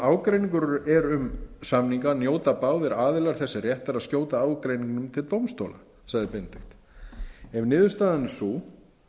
ágreiningur er um samninga njóta báðir aðilar þess réttar að skjóta ágreiningnum til dómstóla sagði benedikt ef niðurstaðan er sáu